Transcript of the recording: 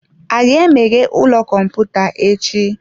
A ga-emeghe ụlọ kọmputa echi?